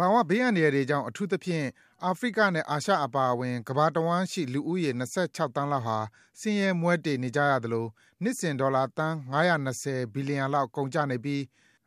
ဘာဝဘေးအန္တရာယ်တွေကြောင့် အထူးသဖြင့် အာဖရိကနဲ့ အာရှ အပါအဝင် ကမ္ဘာတဝှမ်းရှိ လူဦးရေ ၂၆ သန်းလောက်ဟာ ဆင်းရဲမွဲတေနေကြရသလို၊ နှစ်စဉ် ဒေါ်လာ သန်း ၅၂၀ ဘီလီယံလောက် ကုန်ကျနေပြီး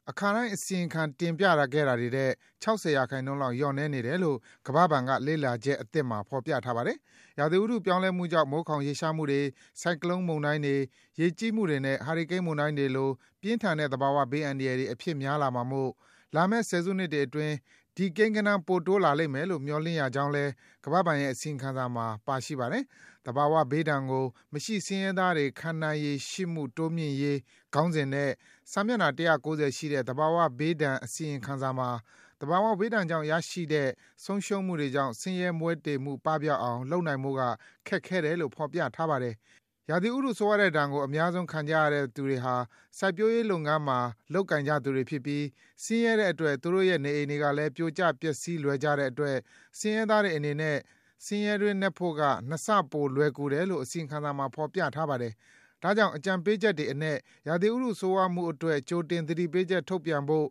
၊ အခါတိုင်း အစီရင်ခံ တင်ပြခဲ့တာတွေထက် ၆၀% လောက် လျော့နည်းနေတယ်လို့ - ကမ္ဘာ့ဘဏ်က လေ့လာချက်အသစ်မှာ ဖော်ပြထားပါတယ်။ ရာသီဥတုပြောင်းလဲမှုကြောင့် မိုးခေါင်ရေရှားမှုတွေ၊ ဆိုင်ကလုံးမုန်တိုင်းတွေ၊ ရေကြီးမှုတွေနဲ့ ဟာရီကိန်းမုန်တိုင်းတွေလို ပြင်းထန်တဲ့ သဘာဝဘေး အန္တရာယ်တွေ အဖြစ်များလာမှာမို့ လာမယ့်ဆယ်စုနှစ်တွေအတွင်း ဒီကိန်းဂဏန်း ပိုတိုးလာလိမ့်မယ်လို့ မျှော်လင့်ရကြောင်းလည်း - ကမ္ဘာ့ဘဏ်ရဲ့ အစီရင်ခံစာမှာ ပါရှိပါတယ်။ “သဘာဝဘေးဒဏ်ကို မရှိဆင်းရဲသားတွေ ခံနိုင်ရည်ရှိမှု တိုးမြှင့်နိုင်ရေး” - ခေါင်းကြီးနဲ့ စာမျက်နှာ ၁၉၀ ရှိတဲ့ သဘာဝဘေးဒဏ် အစီရင်ခံစာမှာ - သဘာဝဘေးဒဏ်ကြောင့် ရရှိတဲ့ ဆုံးရှုံးမှုတွေကြောင့် ဆင်းရဲမွဲတေမှု ပပျောက်အောင် လုပ်နိုင်ဖို့က ခက်ခဲတယ်လို့ ဖော်ပြထားပါတယ်။ ရာသီဥတုဆိုးရွားတဲ့ဒဏ်ကို အများဆုံး ခံကြရတဲ့သူတွေဟာ စိုက်ပျိုးရေးလုပ်ငန်းမှာ လုပ်ကိုင်ကြသူတွေဖြစ်ပြီး၊ ဆင်းရဲတဲ့အတွက် သူတို့ရဲ့နေအိမ်တွေကလည်း ပြိုကျပျက်စီးလွယ်ကြတဲ့အတွက် ဆင်းရဲသားတွေအနေနဲ့ ဆင်းရဲတွင်းနက်ဖို့က နှစ်ဆပို လွယ်ကူတယ်လို့ အစီရင်ခံစာမှာ ဖော်ပြထားပါတယ်။ ဒါကြောင့် အကြံပေးချက်တွေအနက် ရာသီဥတုဆိုးရွားမှုအတွက် ကြိုတင်သတိပေးချက်ထုတ်ပြန်ဖို့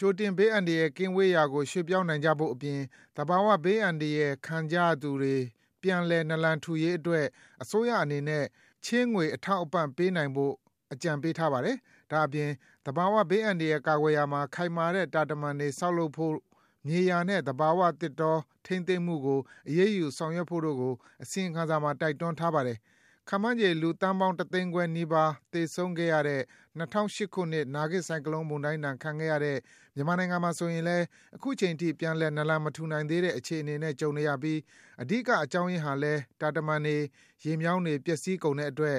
ကြိုတင် ဘေးအန္တရာယ်ကင်းဝေးရာကို ရွှေ့ပြောင်းနိုင်ဖို့အပြင် သဘာဝဘေးအန္တရာယ် ခံကြရတဲ့သူတွေ ပြန်လည် နာလန်ထူနိုင်ရေးအတွက် အစိုးရအနေနဲ့ ချေးငွေအထောက်အပံ့ ပေးနိုင်ဖို့ အကြံပေးထားပါတယ်။ ဒါ့အပြင် သဘာဝဘေးအန္တရာယ် ကာကွယ်ရာမှာ ခိုင်မာတဲ့ တာတမံတွေ ဆောက်လုပ်ဖို့ မြေယာနဲ့ သဘာဝသစ်တော ထိန်းသိမ်းမှုကို အရေးယူဆောင်ရွက်ဖို့ကို အစီရင်ခံစာမှာ တိုက်တွန်းထားပါတယ်။ ခန့်မှန်းချေ လူပေါင်း ၁ သိန်းခွဲနီးပါး သေဆုံးခဲ့ရတဲ့ ၂၀၀၈ ခုနှစ် နာဂစ်ဆိုင်ကလုံးမုန်တိုင်းဒဏ် ခံခဲ့ရတဲ့ မြန်မာနိုင်ငံမှာဆိုရင်လည်း အခုချိန်ထိ ပြန်လည် နာလန်မထူနိုင်သေးတဲ့ အခြေအနေနဲ့ ကြုံနေရပြီး - အဓိကအကြောင်းရင်းဟာလည်း တာတမံတွေ၊ ရေမြောင်းတွေ၊ ပျက်စီးကုန်တဲ့အတွက်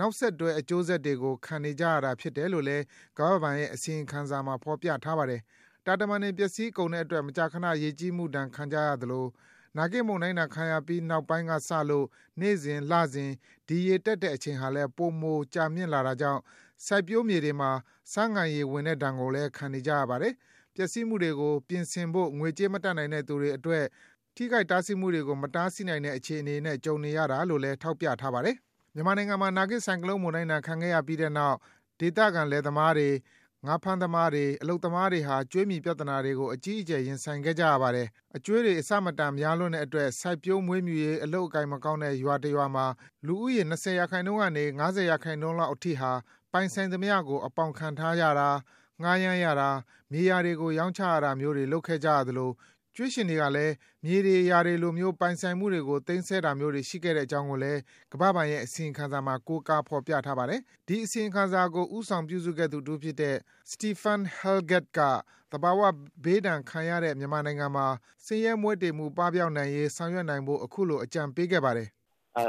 နောက်ဆက်တွဲ အကျိုးဆက်တွေကို ခံစားနေရတာဖြစ်တယ်လို့လည်း ကမ္ဘာ့ဘဏ်ရဲ့ အစီရင်ခံထဲမှာ ဖော်ပြထားတာပါ။ တာတမံတွေ ပျက်စီးကုန်တဲ့အတွက် မကြာခဏ ရေကြီးမှုဒဏ် ခံကြရသလို၊ နာဂစ်မုန်တိုင်းဒဏ်ခံရပြီး နောက်ပိုင်းကစလို့ နေ့စဉ်၊ လစဉ် ဒီရေတက်တဲ့ အချိန်ဟာလည်း ပိုမို ကြာမြင့်လာတာကြောင့် စိုက်ပျိုးမြေတွေမှာ ဆားငံရေဝင်တဲ့ဒဏ်ကို ခံနေရပါတယ်။ ပျက်စီးမှုတွေကို ပြင်ဆင်ဖို့ ငွေကြေး မတတ်နိုင်တဲ့အတွက်လည်း ထိခိုက်ဆုံးရှုံးမှုတွေကို မတားဆီးနိုင်တဲ့ အခြေအနေနဲ့ ကြုံနေရတာလို့လည်း ထောက်ပြထားပါတယ်။ မြန်မာနိုင်ငံမှာ နာဂစ်ဆိုင်ကလုံးမုန်တိုင်းဒဏ် ခံခဲ့ရပြီးနောက် ဒေသခံလယ်သမားတွေ၊ ငါးဖမ်းသမားတွေ၊ အလုပ်သမားတွေဟာ ကြွေးမြီပြဿနာ တွေကို အကြီးအကျယ် ရင်ဆိုင်ခဲ့ကြရပါတယ်။ အကြွေးတွေ မတန်တဆ များလွန်းတဲ့အတွက် စိုက်ပျိုးမွေးမြူရေး အလုပ်အကိုင်မကောင်းတဲ့ ရွာတရွာမှာ လူဦးရေ ၂၀% ကနေ ၅၀% လောက်အထိဟာ ပိုင်ဆိုင်သမျှကို အပေါင်ခံထားရတာ၊ ငှားရမ်းရတာ၊ မြေယာတွေကို ရောင်းချရတာမျိုးတွေ လုပ်ခဲ့ကြရသလို၊ ကြွေးရှင်တွေကလည်း မြေတွေယာတွေလိုမျိုး ပိုင်ဆိုင်မှုတွေကို သိမ်းဆည်းတာမျိုးတွေ ရှိခဲ့ကြောင်းကိုလည်း ကမ္ဘာ့ဘဏ်ရဲ့ အစီရင်ခံစာမှာ ကိုးကားဖော်ပြထားပါတယ်။ အစီရင်ခံစာကို ဦးဆောင်ပြုစုသူတဦးဖြစ်တဲ့ Stephane Hallegatte က - သဘာဝဘေးဒဏ်ခံရတဲ့ မြန်မာနိုင်ငံမှာ ဆင်းရဲမွဲတေမှု ပပျောက်နိုင်ရေး ဆောင်ရွက်နိုင်ဖို့ အခုလို အကြံပေးခဲ့ပါတယ်။ “ဆင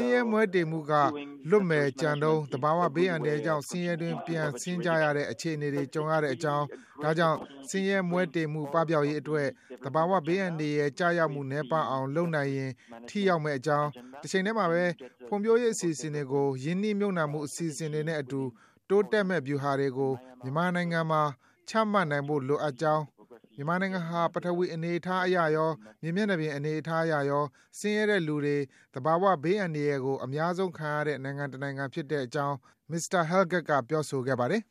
်းရဲမွဲတေမှုက လွတ်မယ်ကြံတုန်း သဘာဝဘေးဒုက္ခကြောင့် ဆင်းရဲတွင်း ပြန်ဆင်းကြရတဲ့ အခြေအနေတွေ ကြုံကြရပါတယ်။ ဒါကြောင့် ဆင်းရဲမွဲတေမှု ပပျောက်ရေးအတွက် သဘာဝဘေးအန္တရာယ် ကျရောက်မှု နည်းပါးအောင်လုပ်နိုင်ရင် ထိရောက်ပါတယ်။ တချိန်တည်းမှာပဲ ဖွံ့ဖြိုးရေးအစီအစဉ်တွေကို ရင်းနှီးမြှုပ်နှံမှု အစီအစဉ်တွေနဲ့အတူ တိုးတက်မယ့် ဗျူဟာတွေကို မြန်မာနိုင်ငံမှာ ချမှတ်နိုင်ဖို့ လိုအပ်ပါတယ်။ မြန်မာနိုင်ငံဟာ ပထဝီဝင်အနေအထားအရရော မြေမျက်နှာပြင် အနေအထားအရရော ဆင်းရဲတဲ့လူတွေ သဘာဝဘေးအန္တရာယ်ကို အများဆုံးခံရတဲ့ နိုင်ငံတနိုင်ငံလည်း ဖြစ်ပါတယ်” - လို့ မစ္စတာ Hallegatte က ပြောဆိုခဲ့ပါတယ်